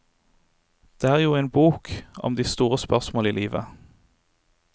Det er jo en bok om de store spørsmål i livet.